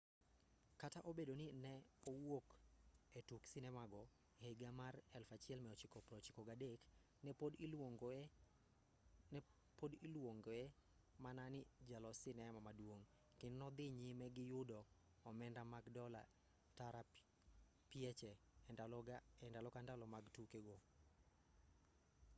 kata obedo ni ne owuok e tuk sinema go e higa mar 1993 ne pod iluongoe mana ni jalos sinema maduong' kendo nodhi nyime gi yudo omenda mag dola tara pieche e ndalo ka ndalo mag tuke go